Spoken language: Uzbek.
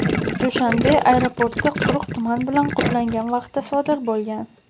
Dushanbe aeroporti quyuq tuman bilan qoplangan vaqtda sodir bo‘lgan.